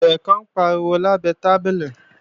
Eré kan ń pariwo lábẹ tábìlì